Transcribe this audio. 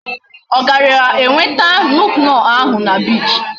O gara enweta nuke-noh ahu na beach?